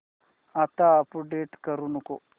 आता अपडेट करू नको